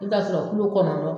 I bi t'a sɔrɔ kulo kɔnɔndɔn